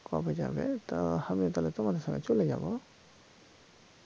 কবে যাবে তো হামি তাহলে তোমার ওখানে চলে যাব